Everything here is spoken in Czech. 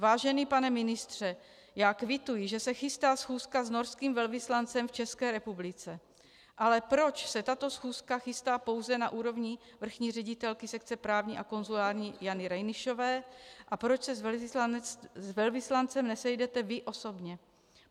Vážený pane ministře, já kvituji, že se chystá schůzka s norským velvyslancem v České republice, ale proč se tato schůzka chystá pouze na úrovni vrchní ředitelky sekce právní a konzulární Jany Reinišové a proč se s velvyslancem nesejdete vy osobně?